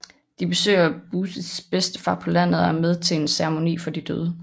De besøger Busis bedstefar på landet og er med til en ceremoni for de døde